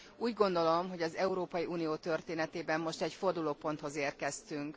Úgy gondolom, hogy az Európai Unió történetében most egy fordulóponthoz érkeztünk.